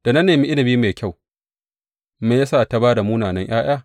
Da na nemi inabi masu kyau, me ya sa ta ba da munana ’ya’ya?